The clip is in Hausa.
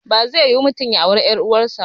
Bazai yiwu ba mutum ya auri ƴar uwar sa